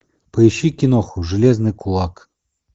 поищи киноху железный кулак